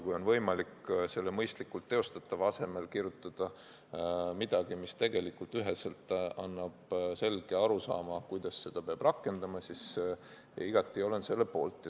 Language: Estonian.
Kui on võimalik selle "mõistlikult teostatava" asemel kirjutada midagi, mis annab ühese arusaama, kuidas seda peab rakendama, siis olen igati selle poolt.